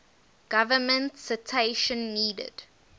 government citation needed